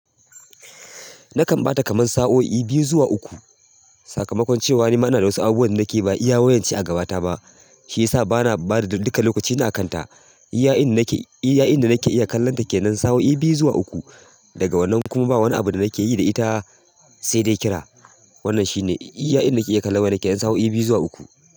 Nakan ba ta kaman sa'o'i biyu zuwa uku. Sakamakon cewa ni ma ina da wasu abubuwan da nake ba iya wayarce a gaba ta ba, shi ya sa ba na ba da duka lokaci na kan ta. Iya'in da nake, iya'in da nake iya kallon ta kenan sa'o'i biyu zuwa uku, daga wannan kuma ba wani abu da nake yi da ita sai dai kira. Wannan shine iya'in da nake iya kallon wayar kenan sa'o'i biyu zuwa uku.